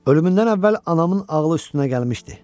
Ölümündən əvvəl anamın ağlı üstünə gəlmişdi.